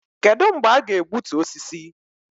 Kedụ mgbe a ga-egbutu osisi?